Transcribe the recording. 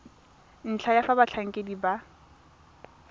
ntlha ya fa batlhankedi ba